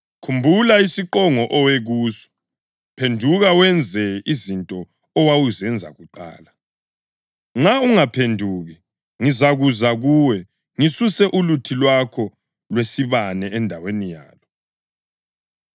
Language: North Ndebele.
Khumbula isiqongo owe kuso! Phenduka wenze izinto owawuzenza kuqala. Nxa ungaphenduki, ngizakuza kuwe, ngisuse uluthi lwakho lwesibane endaweni yalo.